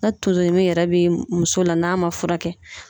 Na tonsoɲimi yɛrɛ bɛ muso la n'a ma furakɛ